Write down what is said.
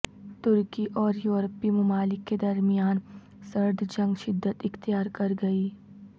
ترکی اور یورپی ممالک کے درمیان سرد جنگ شدت اختیار کرگئی